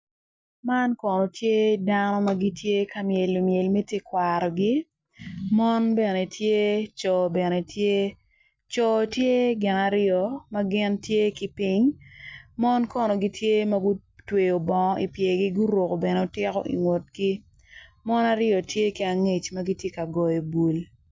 Man kono tye dano magitye ka myelo myel me tekwarogi mon bene tye coo bene tye coo tye gin aryo magin gitye ki ping mono kono tye magutweyo bongo ipyergi guruko bene otiko i ngutgi mon aryo tye ki angec magitye ka goyo bul.